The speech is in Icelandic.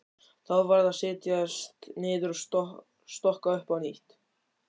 Þá varð að setjast niður og stokka upp á nýtt.